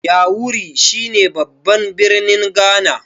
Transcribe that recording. yawuri shi ne babban birnin Ghana